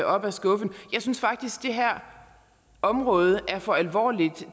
op af skuffen jeg synes faktisk det her område er for alvorligt